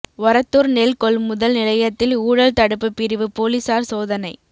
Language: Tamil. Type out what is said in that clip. ஒரத்தூா் நெல் கொள்முதல் நிலையத்தில் ஊழல் தடுப்புப் பிரிவு போலீஸாா் சோதனை